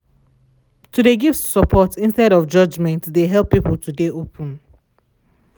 to de give support instea judgement de help people to de open.